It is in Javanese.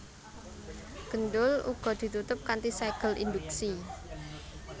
Gendul uga ditutup kanthi ségel induksi